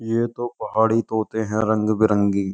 ये तो पहाड़ी तोते हैं रंग बिरंगी --